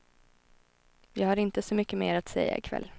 Jag har inte så mycket mer att säga i kväll.